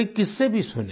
कई किस्से भी सुने